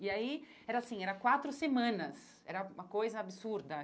E aí era assim, eram quatro semanas, era uma coisa absurda.